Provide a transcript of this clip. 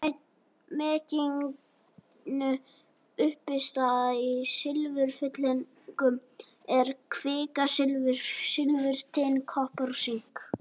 Meginuppistaða í silfurfyllingum er kvikasilfur, silfur, tin, kopar og sink.